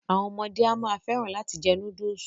Àwọn ọmọde a máa fẹ́ràn láti jẹ núdùsù.